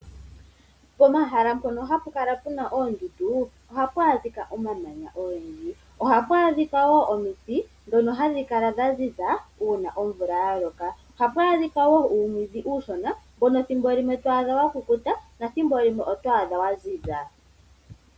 Pomahala mpono hapu kala puna oondundu ohapu adhika omamanya ogendji. Ohapu adhika wo omiti ndhono hadhi kala dha ziza uuna omvula ya loka. Ohapu adhika wo uumwiidhi mbono uushona mbono thimbo limwe to adha wa kukuta nathimbo limwe oto adha wa ziza.